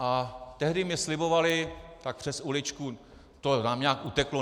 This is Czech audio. A tehdy mi slibovali tak přes uličku: To nám nějak uteklo.